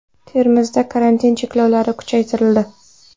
Termizda karantin cheklovlari kuchaytirildi.